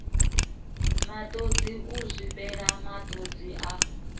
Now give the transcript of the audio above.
matodzi u zwifhela matodzi a